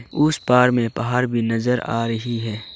उस पार में पहाड़ भी नजर आ रही है।